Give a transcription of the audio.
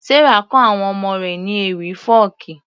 Sarah kọ àwọn ọmọ rẹ̀ ní ewì fọ́ọ̀kí